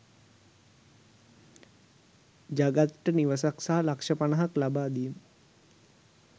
ජගත්ට නිවසක් සහ ලක්ෂ පණහක් ලබාදීම